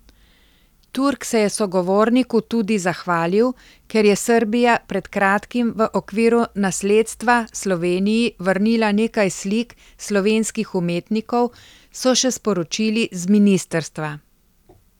Turk se je sogovorniku tudi zahvalil, ker je Srbija pred kratkim v okviru nasledstva Sloveniji vrnila nekaj slik slovenskih umetnikov, so še sporočili z ministrstva.